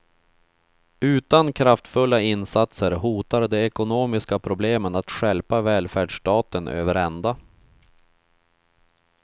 Utan kraftfulla insatser hotar de ekonomiska problemen att stjälpa välfärdsstaten över ända.